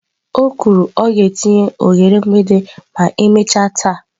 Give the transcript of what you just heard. O kwuru " ọ ga-etinye oghere mgbidi ma emechaa taa."